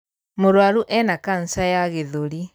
Mũrwaru ena kanca ya gĩthũri.